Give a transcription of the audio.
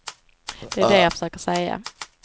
Det är det jag försöker säga.